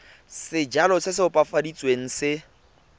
sejalo se se opafaditsweng se